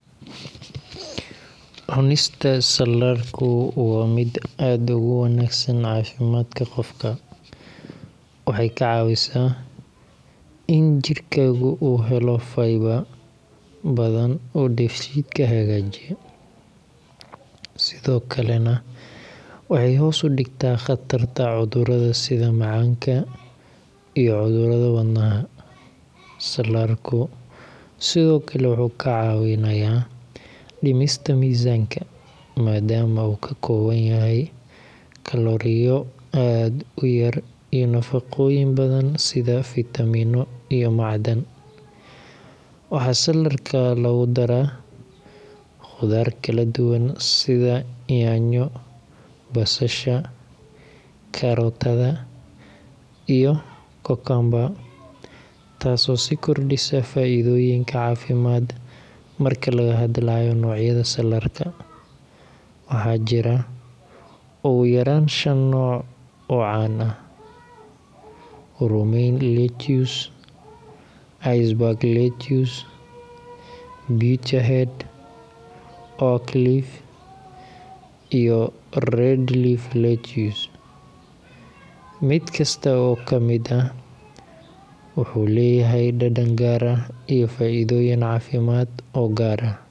Cunista saladhku waa mid aad ugu wanaagsan caafimaadka qofka. Waxay kaa caawisaa in jirkaaga uu helo fiber badan oo dheefshiidka hagaajiya, sidoo kalena waxay hoos u dhigtaa khatarta cudurrada sida macaanka iyo cudurrada wadnaha. Saladhku sidoo kale wuu kaa caawinayaa dhimista miisaanka, maadaama uu ka kooban yahay kalooriyo aad u yar iyo nafaqooyin badan sida fiitamiinno iyo macdan. Waxaa saladhka lagu daraa khudaar kala duwan sida yaanyo, basasha, kaarootada, iyo cucumber, taasoo sii kordhisa faa’iidooyinka caafimaad. Marka laga hadlayo noocyada salaarka, waxaa jira ugu yaraan shan nooc oo caan ah: romaine lettuce, iceberg lettuce, butterhead, oak leaf, iyo red leaf lettuce. Mid kasta oo ka mid ah wuxuu leeyahay dhadhan gaar ah iyo faa’iidooyin caafimaad oo gaar ah.